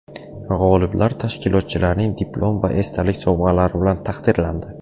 G‘oliblar tashkilotchilarning diplom va esdalik sovg‘alari bilan taqdirlandi.